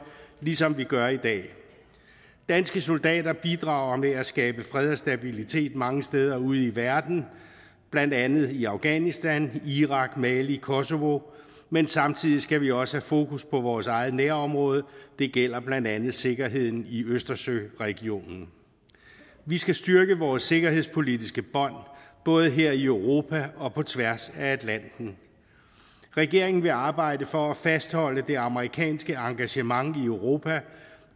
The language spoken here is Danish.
ligesom vi gør i dag danske soldater bidrager med at skabe fred og stabilitet mange steder ude i verden blandt andet i afghanistan irak mali kosovo men samtidig skal vi også have fokus på vores eget nærområde det gælder blandt andet sikkerheden i østersøregionen vi skal styrke vores sikkerhedspolitiske bånd både her i europa og på tværs af atlanten regeringen vil arbejde for at fastholde det amerikanske engagement i europa